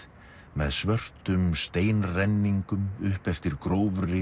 með svörtum upp eftir grófri